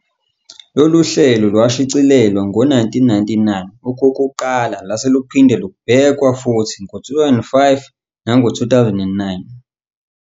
Lolu hlelo lwashicilelwa ngo-1999 okokuqala lase luphinda lubhekwa futhi ngo-2005 nango-2009.